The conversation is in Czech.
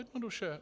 Jednoduše.